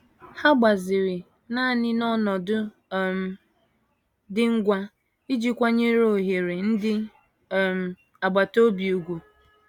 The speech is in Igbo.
Ha gbaziri naanị n'ọnọdụ um dị ngwa iji kwanyere ohere ndị um agbata obi ùgwù.